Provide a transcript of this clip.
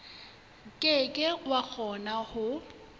ke ke wa kgona ho